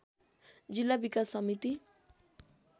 जिल्ला विकास समिति